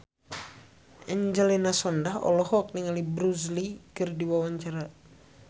Angelina Sondakh olohok ningali Bruce Lee keur diwawancara